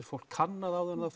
fólk kannað áður en það